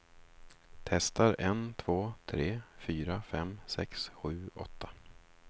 Testar en två tre fyra fem sex sju åtta.